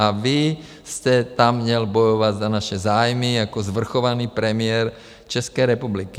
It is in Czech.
A vy jste tam měl bojovat za naše zájmy jako svrchovaný premiér České republiky.